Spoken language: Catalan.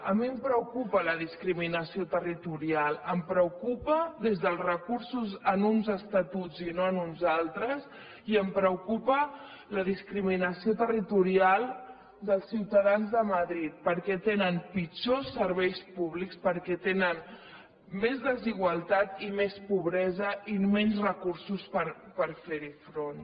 a mi em preocupa la discriminació territorial em preocupa des dels recursos a uns estatuts i no a uns altres i em preocupa la discriminació territorial dels ciutadans de madrid perquè tenen pitjors serveis públics perquè tenen més desigualtat i més pobresa i menys recursos per ferhi front